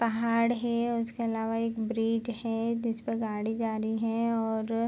पहाड़ हे उसके अलावा एक ब्रिग हे जिसपे गाड़ी जा रही है और --